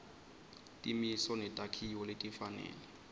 timiso netakhiwo letifanele